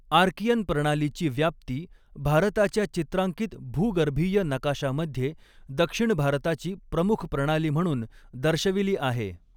Archaean प्रणालीची व्याप्ती भारताच्या चित्रांकित भूगर्भीय नकाशामध्ये दक्षिण भारताची प्रमुख प्रणाली म्हणून दर्शविली आहे.